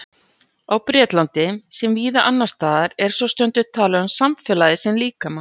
Á Bretlandi, sem víða annars staðar, er svo stundum talað um samfélagið sem líkama.